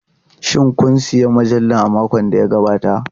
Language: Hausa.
Shin kun sayi mujallar a makon da ya gabata?